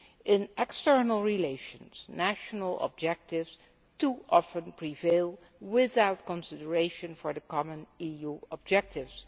In external relations, national objectives too often prevail, without consideration for the common EU objectives.